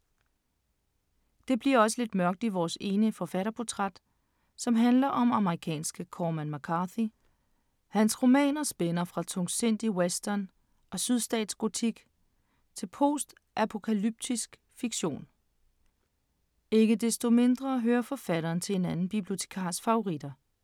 Det bliver også lidt mørkt i vores ene forfatterportræt, som handler om amerikanske Corman McCarthy. Hans romaner spænder fra tungsindig western og sydstatsgotik til postapokalyptisk fiktion. Ikke desto mindre hører forfatteren til en anden bibliotekars favoritter.